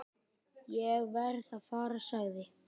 """Ég verð að fara, sagði"""